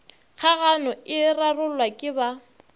kgagano e rarollwa ke ba